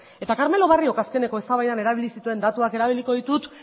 eta carmelo barriok azkeneko eztabaidan erabili zituen datuak erabiliko ditut